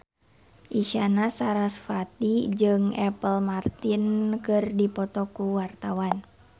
Isyana Sarasvati jeung Apple Martin keur dipoto ku wartawan